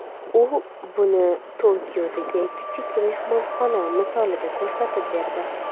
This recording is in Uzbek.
U buni Tokiodagi kichik mehmonxona misolida ko‘rsatib berdi.